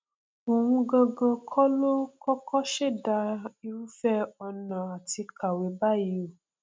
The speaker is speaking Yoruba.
òun gangan kọ ló kọkọ ṣẹdá irúfẹ ọnà àti kàwé báyìí o